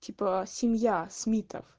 типа семья смитов